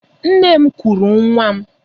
Nne m kuuru nwa m.